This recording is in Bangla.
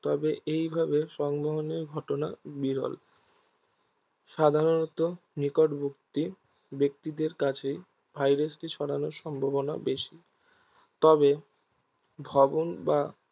তবে এইভাবে সংবহনের ঘটনা বিরল সাধারণত নিকটবর্তী ব্যক্তিদের কাছেই ভাইরাসটির সড়ানোর সম্ভাবনা বেশি তবে ভবন বা